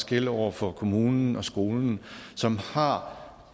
gælde over for kommunen og skolen som har